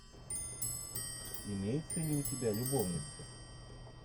имеется ли у тебя любовницы